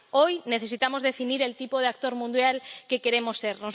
Hoy necesitamos definir el tipo de actor mundial que queremos ser.